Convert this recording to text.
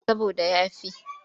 Saboda ya fi.